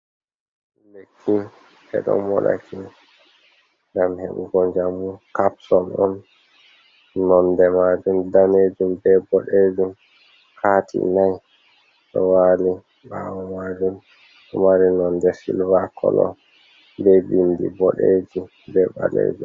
Lekki ni ɓeɗo moɗaki, ngam heɓugo njamu kapsol on nonde majum danejum be bodejum, kati nai do wali bawo majum, ɗo mari nonde silva kolo be bindi boɗejum be balejum.